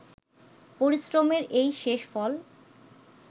পরিশ্রমের এই শেষ ফল